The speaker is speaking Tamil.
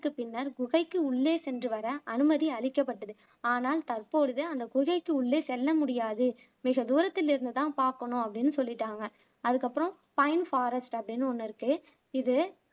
பின்னர் குகைக்கு உள்ளே சென்று வர அனுமதி அளிக்கப்பட்டது ஆனால் தற்பொழுது அந்த குகைக்கு உள்ளே செல்ல முடியாது மிக தூரத்தில் இருந்து தான் பார்க்கணும் அப்படின்னு சொல்லிட்டாங்க அதுக்கு அப்பறம் பைன் ஃபாரஸ்ட் அப்படின்னு ஒண்ணு இருக்கு இது